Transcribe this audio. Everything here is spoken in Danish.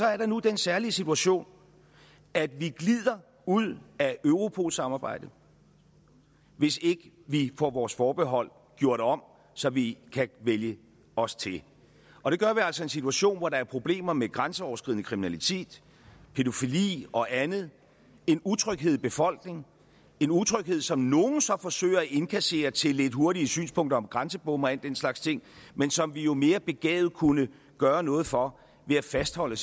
er der nu den særlige situation at vi glider ud af europolsamarbejdet hvis ikke vi får vores forbehold gjort om så vi kan vælge os til og det gør vi altså i en situation hvor der er problemer med grænseoverskridende kriminalitet pædofili og andet en utryghed i befolkningen en utryghed som nogle så forsøger at indkassere til lidt hurtige synspunkter om grænsebomme og al den slags ting men som vi jo mere begavet kunne gøre noget for ved at fastholde